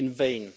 In vain.